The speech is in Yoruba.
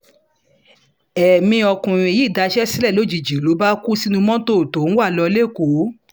èmi ọkùnrin yìí daṣẹ́ sílẹ̀ lójijì ló bá kú sínú mọ́tò tó ń wá lò lẹ́kọ̀ọ́